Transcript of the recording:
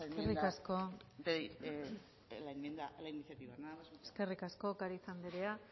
nuestra enmienda a la iniciativa nada más muchas gracias eskerrik asko ocariz andrea